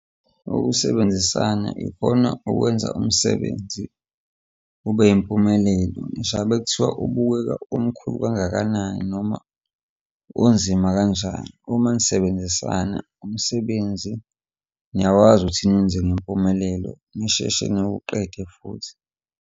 Ukusebenzisana ikhona ukwenza umsebenzi ube yimpumelelo ngisho ngabe kuthiwa ubukeka umkhulu kangakanani noma unzima kanjani, uma nisebenzisana umsebenzi niyakwazi ukuthi niwenze ngempumelelo nisheshe niwuqede futhi.